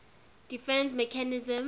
defence mechanism